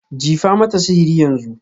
Jifa mata sihiri yanzu.